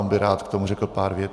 On by rád k tomu řekl pár vět.